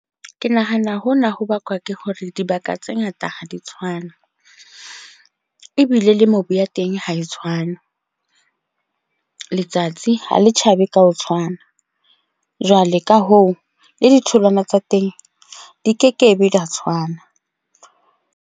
Ke nahana hona ho bakwa ke hore dibaka tse ngata ha di tshwane. Ebile le mobu ya teng ha e tshwane. Letsatsi ha le tjhabe ka ho tshwana. Jwale ka hoo, le ditholwana tsa teng di kekebe dia tshwana.